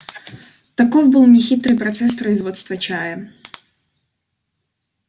таков был нехитрый процесс производства чая